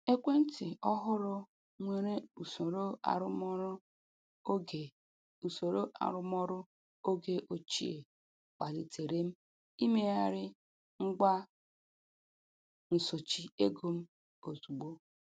Ekwentị ọhụrụ nwere usoro arụmọrụ oge usoro arụmọrụ oge ochie kpalitere m imegharị ngwa nsochi ego m ozugbo.